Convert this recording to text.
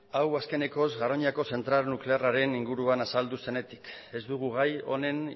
hau azkenekoz garoñako zentral nuklearraren inguruan azaldu zenetik ez dugu gai honen